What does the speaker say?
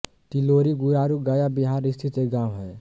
तिलोरी गुरारू गया बिहार स्थित एक गाँव है